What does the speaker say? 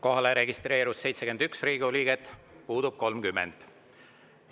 Kohalolijaks registreerus 71 Riigikogu liiget, puudub 30.